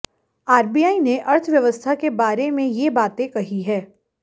RBI ने अर्थव्यवस्था के बारे में ये बातें कही है